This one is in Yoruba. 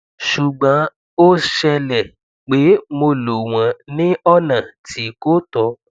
ṣugbọn o ṣẹlẹ pe mo lo wọn ni ọna ti ko tọ